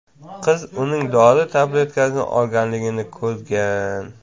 Qiz uning dori tabletkasini olganligini ko‘rgan.